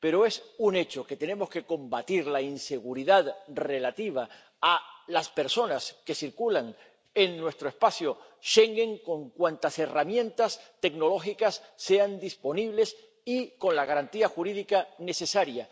Pero es un hecho que tenemos que combatir la inseguridad relativa a las personas que circulan en nuestro espacio Schengen con cuantas herramientas tecnológicas estén disponibles y con la garantía jurídica necesaria.